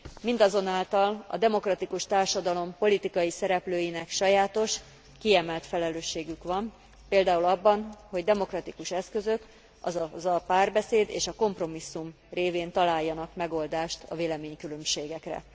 Mindazonáltal a demokratikus társadalom politikai szereplőinek sajátos, kiemelt felelősségük van például abban, hogy demokratikus eszközök, azaz a párbeszéd és a kompromisszum révén találjanak megoldást a véleménykülönbségekre.